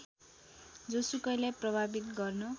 जोसुकैलाई प्रभावित गर्न